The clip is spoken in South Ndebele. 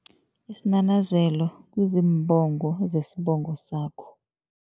Isinanazelo kuziimbongo zesibongo sakho.